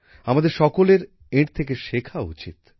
আমাদের সকলের এঁর থেকে শেখা উচিৎ